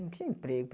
Não tinha emprego.